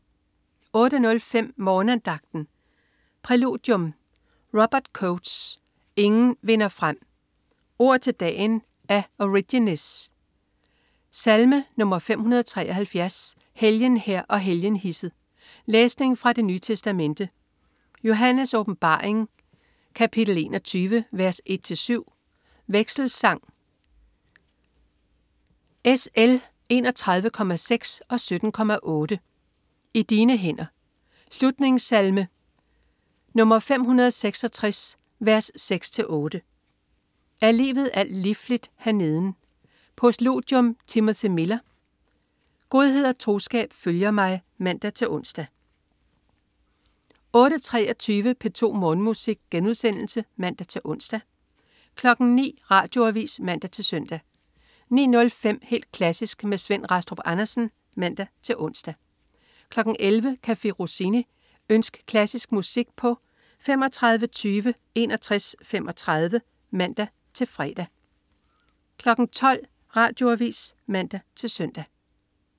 08.05 Morgenandagten. Præludium: Robert Coates "Ingen vinder frem". Ord til dagen: af Origenes. Salme: 573 "Helgen her og helgen hisset". Læsning fra Det Nye Testamente: Johannes' Åbenbaring 21, 1-7 Vekselsang: Sl. 31,6 & 17,8 "I dine hænder". Slutningssalme: 566,6-8 "Er livet alt lifligt herneden". Postludium: Timothy Miller "Godhed og troskab følger mig" (man-ons) 08.23 P2 Morgenmusik* (man-ons) 09.00 Radioavis (man-søn) 09.05 Helt klassisk med Svend Rastrup Andersen (man-ons) 11.00 Café Rossini. Ønsk klassisk musik på tlf. 35 20 61 35 (man-fre) 12.00 Radioavis (man-søn)